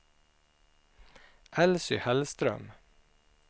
Elsy Hellström